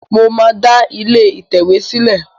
Mo máa da ilé ìtẹ̀wé sìlé